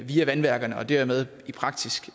via vandværkerne og dermed i praksis